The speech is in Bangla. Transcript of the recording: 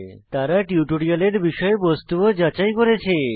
তারা টিউটোরিয়ালের বিষয়বস্তু ও যাচাই করেছে